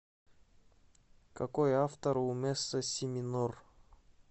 какой автор у месса си минор